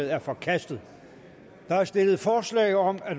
er forkastet der er stillet forslag om at